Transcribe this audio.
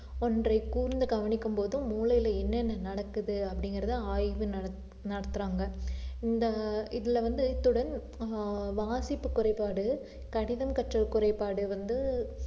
ஒன்றை கூர்ந்து கவனிக்கும் போதும் மூளையிலே என்னென்ன நடக்குது அப்படிங்கிறதை ஆய்வு நடத்து~ நடத்துறாங்க இந்த இதுல வந்து இத்துடன் ஆஹ் வாசிப்பு குறைபாடு, கடிதம் கற்றல் குறைபாடு வந்து